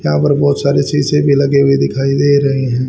यहां पर बहोत सारे शीशे भी लगाए हुए दिखाई दे रहे हैं।